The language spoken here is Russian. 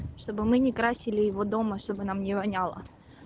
чтобы мы не красили его дома чтобы нам не воняло